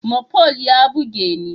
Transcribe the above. Mopol ya buge ni.